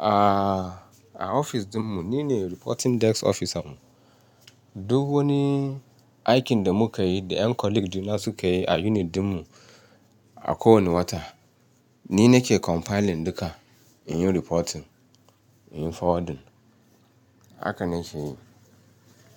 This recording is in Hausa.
A, a ofis ɗinmu nine reporting desk officer. Duk wani aikin da muka yi da ƴan colleague ɗina suka yi a unit ɗinmu a kowane wata, ni nake compiling duka in yi reporting, in yi forwarding. Haka nake yi.